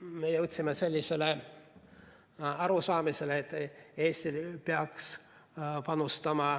Me jõudsime arusaamisele, et Eesti peaks panustama